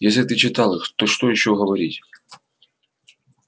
если ты читал их то что ещё говорить